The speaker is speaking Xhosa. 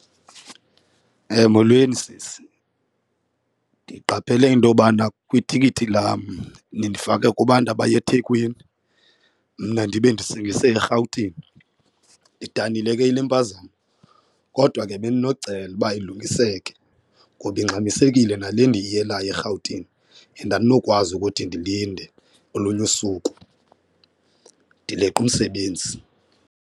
Molweni sisi. Ndiqaphele into yobana kwitikiti lam nindifake kubantu abaya eThekwini mna ndibe ndisingise eRhawutini, ndidanile ke yile mpazamo kodwa ke bendinocela uba ilungiseke ngoba ingxamisekile nale ndiyiyelayo eRhawutini and andinokwazi ukuthi ndilinde olunye usuku. Ndileqa umsebenzi.